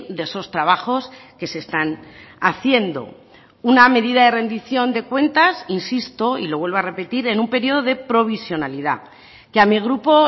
de esos trabajos que se están haciendo una medida de rendición de cuentas insisto y lo vuelvo a repetir en un periodo de provisionalidad que a mí grupo